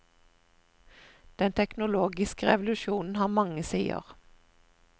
Den teknologiske revolusjonen har mange sider.